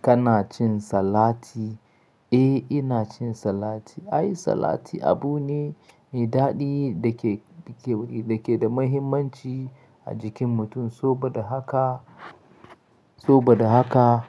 Kana cin salati? Eh, ina cin salati. Ai, salati abu ne, me daɗi dake, dake, dake da muhimmanci a jikin mutum. So ba da haka, so ba da haka,